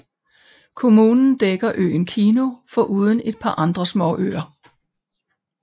Kommunen dækker øen Kihnu foruden et par andre småøer